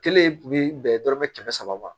Kelen tun bɛ bɛn dɔrɔmɛ kɛmɛ saba ma